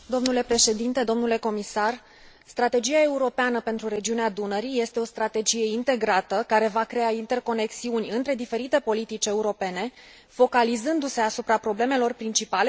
Strategia europeană pentru regiunea Dunării este o strategie integrată, care va crea interconexiuni între diferite politici europene, focalizându se asupra problemelor principale prezente în întreaga macroregiune.